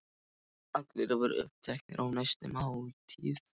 Allir voru uppteknir af næstu máltíð.